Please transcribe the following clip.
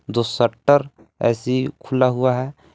दो शटर ऐसी ही खुला हुआ है।